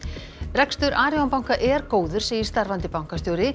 rekstur Arion banka er góður segir starfandi bankastjóri